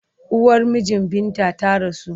Uwar mijin Binta ta rasu.